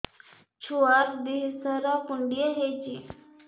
ଛୁଆର୍ ଦିହ ସାରା କୁଣ୍ଡିଆ ହେଇଚି